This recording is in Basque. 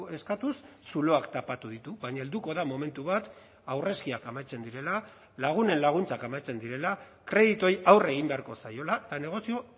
eskatuz zuloak tapatu ditu baina helduko da momentu bat aurrezkiak amaitzen direla lagunen laguntzak amaitzen direla kredituei aurre egin beharko zaiola eta negozio